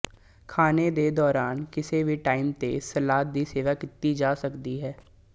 ਖਾਣੇ ਦੇ ਦੌਰਾਨ ਕਿਸੇ ਵੀ ਟਾਈਮ ਤੇ ਸਲਾਦ ਦੀ ਸੇਵਾ ਕੀਤੀ ਜਾ ਸਕਦੀ ਹੈ